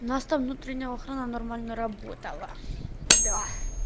у нас там внутренняя охрана нормально работала да